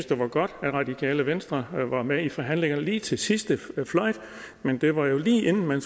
det var godt at radikale venstre var med i forhandlingerne lige til sidste fløjt men det var jo lige inden man